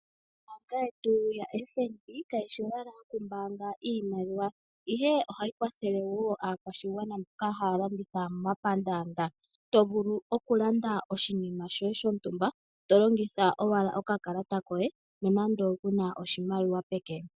Ombaanga yetu yaFNB kayi shi owala yokumbaanga iimaliwa, ihe ohayi kwathele wo aakwashigwana mboka taya landitha momapandaanda. To vulu okulanda oshinima shoye shontumba to longitha owala okakalata koye nonando ku na oshimaliwa peke.